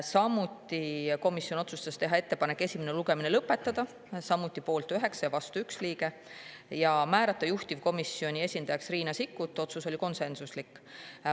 Samuti otsustas komisjon teha ettepaneku esimene lugemine lõpetada, selle poolt oli samuti 9 liiget ja vastu 1; ja määrata juhtivkomisjoni esindajaks Riina Sikkuti, see otsus oli konsensuslik.